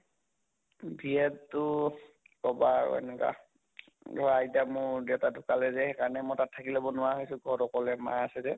B Ed টো কʼবা আৰু এনেকা ধৰা আইতা মোৰ দেউতা ঢুকালে যে সেই কাৰণে মই তাত থাকি লʼব নোৱাৰা হৈছো ঘৰত অকলে মা আছ যে